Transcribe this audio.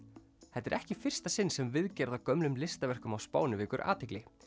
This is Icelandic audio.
þetta er ekki í fyrsta sinn sem viðgerð á gömlum listaverkum á Spáni vekur athygli